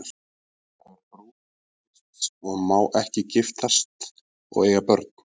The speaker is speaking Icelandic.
Hún er brúður Krists og má ekki giftast og eiga börn.